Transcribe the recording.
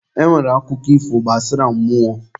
E nwere akụkọ ifo gbasara mmụọ.